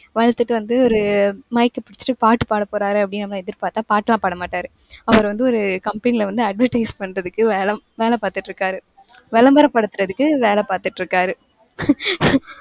வளர்த்துட்டு வந்து, ஒரு mike அ புடிச்சுட்டு பாட்டு பாட போறாரு அப்படின்னு நம்ம எதிர்பார்த்தா பாட்டெல்லாம் பாட மாட்டாரு. அவர் வந்து ஒரு company ல வந்து advertise பண்றதுக்கு வேலை வேலை பார்த்துட்டு இருக்காரு. விளம்பரப்படுத்துறதுக்கு வேலை பார்த்துட்டு இருக்காரு.